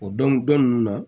O dɔn ninnu na